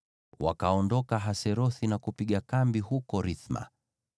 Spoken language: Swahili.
Wakaondoka Haserothi na kupiga kambi huko Rithma.